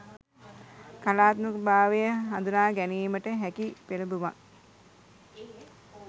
කලාත්මක භාවය හඳුනාගැනීමට හැකි පෙළඹුමක්